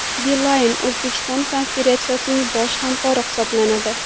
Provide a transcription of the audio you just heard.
Beeline Uzbekistan konferensiyaning bosh hamkori hisoblanadi.